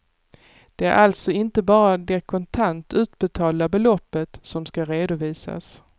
Det är alltså inte bara det kontant utbetalda beloppet som ska redovisas.